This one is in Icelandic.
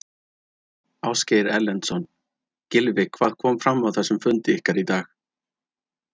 Ásgeir Erlendsson: Gylfi hvað kom fram á þessum fundi ykkar í dag?